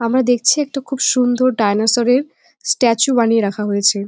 আমরা দেখছি একটা খুব সুন্দর ডায়ানোসরের -এর স্ট্যাচু বানিয়ে রাখা হয়েছে।